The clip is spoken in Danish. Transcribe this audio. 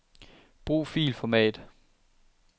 Brug filformat.